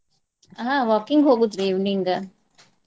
ಅಹ್ walking ಹೋಗೋದ್ರಿ evening ಆ.